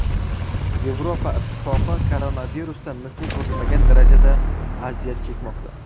Yevropa Ittifoqi koronavirusdan misli ko‘rilmagan darajada aziyat chekmoqda.